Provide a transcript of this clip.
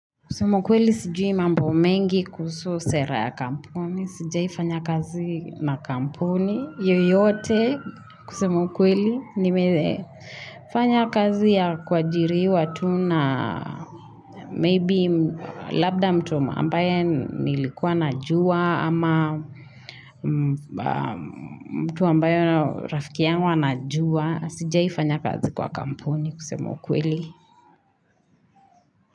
Kusema ukweli sijui mambo mengi kuhusu sera ya kampuni. Sijaifanya kazi na kampuni. Hiyo Yyote kusema ukweli nimethe. Fanya kazi ya kuajiriwa tu na maybe labda mtu ambaye nilikuwa najua ama mtu ambaye rafiki yangu anajua. Sijai fanya kazi kwa kamponi kusemukweli.